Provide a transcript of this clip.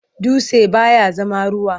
Dutse baya zama ruwa.